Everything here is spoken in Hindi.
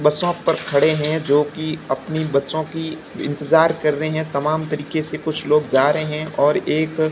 बसों खड़े हैं जो कि अपने बच्चों की इंतजार कर रहे हैं तमाम तरीके से कुछ लोग जा रहे हैं और एक--